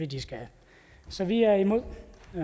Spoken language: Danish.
de skal have så vi er imod